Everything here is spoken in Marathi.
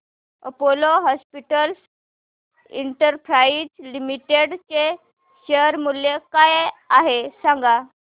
अपोलो हॉस्पिटल्स एंटरप्राइस लिमिटेड चे शेअर मूल्य काय आहे सांगा